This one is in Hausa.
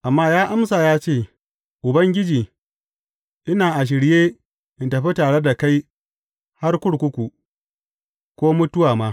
Amma ya amsa ya ce, Ubangiji, ina a shirye in tafi tare da kai har kurkuku, ko mutuwa ma.